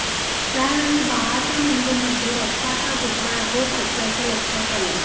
त्यावेळी बाळाच्या मेंदूमध्ये रक्ताच्या गुठळ्या होत असल्याचं लक्षात आलं